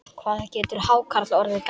Hvað getur hákarl orðið gamall?